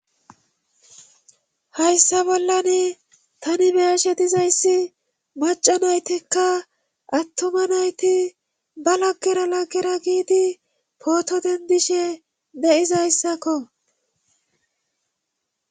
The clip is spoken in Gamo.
Hayssa bollan tani beyeshe dizayssi maca naytekka attoma nayti ba laggero laggera giidi pooto dendishe de7izayssakko